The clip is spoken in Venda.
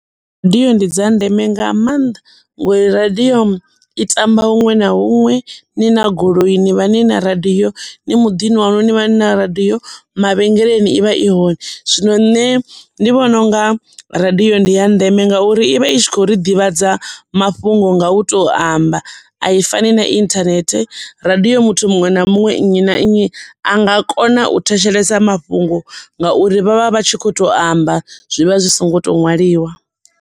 Radiyo ndi dza ndeme nga maanḓa ngori radiyo i tamba huṅwe na huṅwe ni na goloi ni vha ni na radiyo, ni muḓini waṋu ni vha ni na radiyo mavhengeleni ivha i hone zwino nṋe ndi vhona unga radiyo ndi ya ndeme ngauri ivha i tshi khou ri ḓivhadza mafhungo nga u to amba a i fani na internet radiyo muthu muṅwe na muṅwe nnyi na nnyi a nga kona u thetshelesa mafhungo ngauri vha vha vha tshi kho to amba zwivha zwi songo to ṅwaliwa.